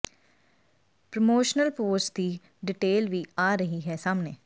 promotional post ਦੀ detail ਵੀ ਆ ਰਹੀ ਹੈ ਸਾਹਮਣੇ